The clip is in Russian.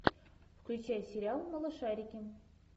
включай сериал малышарики